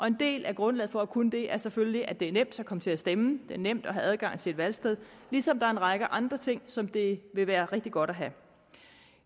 en del af grundlaget for at kunne det er selvfølgelig at det er nemt at komme til at stemme det er nemt at have adgang til et valgsted ligesom der er en række andre ting som det vil være rigtig godt at have